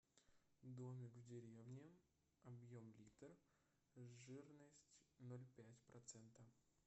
домик в деревне объем литр жирность ноль пять процента